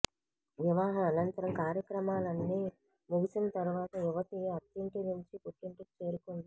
వివాహం అనంతరం కార్యక్రమాలన్నీ ముగిసిన తర్వాత యువతి అత్తింటి నుంచి పుట్టింటికి చేరుకుంది